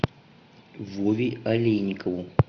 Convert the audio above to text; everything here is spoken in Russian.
вове олейникову